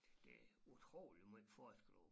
Det utrolig måj forskel